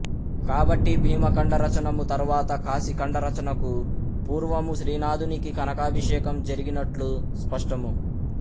కాబట్టి భీమఖండ రచనము తరువాత కాశీ ఖండ రచనకు పూర్వము శ్రీనాథునికి కనకాభిషేకము జరిగినట్లు స్పష్టము